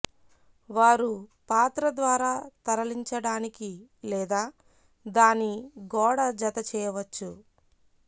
వారు పాత్ర ద్వారా తరలించడానికి లేదా దాని గోడ జత చేయవచ్చు